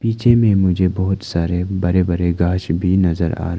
पीछे में मुझे बहुत सारे बड़े बड़े घास भी नजर आ--